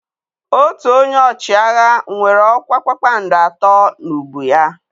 Otu onye ọchịagha nwere ọkwa kpakpando atọ n'ubu ya.